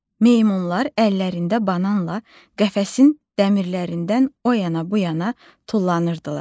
Meymunlar əllərində bananla qəfəsin dəmirlərindən o yana bu yana tullanırdılar.